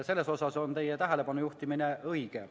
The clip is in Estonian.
Selles osas on teie tähelepanujuhtimine õige.